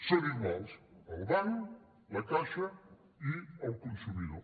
són iguals el banc la caixa i el consumidor